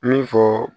Min fɔ